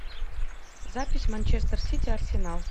запись манчестер сити арсенал